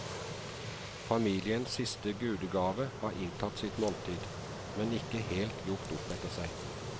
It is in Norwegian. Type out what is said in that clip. Familiens siste gudegave har inntatt sitt måltid, men ikke helt gjort opp etter seg.